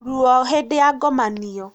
Ruo ihindaĩni rĩa ngomanio